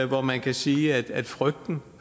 hvor man kan sige at frygten